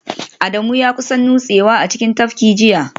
Adamu ya kusa nutsewa a cikin tafkin jiya